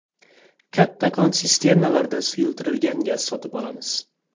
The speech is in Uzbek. Kattakon sisternalarda suyultirilgan gaz sotib olamiz.